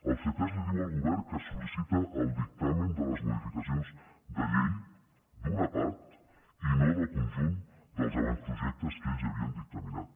el ctesc li diu al govern que sol·licita el dictamen de les modificacions de llei d’una part i no del conjunt dels avantprojectes que ells ja havien dictaminat